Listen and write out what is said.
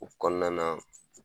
O kɔnɔna na